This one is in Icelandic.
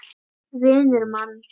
Vinnur mann.